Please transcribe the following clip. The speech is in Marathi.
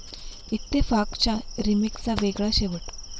इत्तेफाक'च्या रिमेकचा वेगळा शेवट